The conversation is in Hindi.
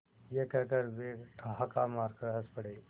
यह कहकर वे ठहाका मारकर हँस पड़े